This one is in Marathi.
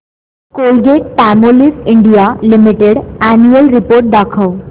Colgate Palmolive India limited annual report दाखव